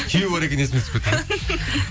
күйеуі бар екені есіме түсіп кетті де